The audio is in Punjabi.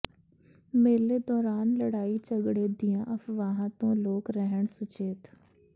ਮੇਲੇ ਦੌਰਾਨ ਲੜਾਈ ਝਗੜੇ ਦੀਆਂ ਅਫ਼ਵਾਹਾਂ ਤੋਂ ਲੋਕ ਰਹਿਣ ਸੁਚੇਤ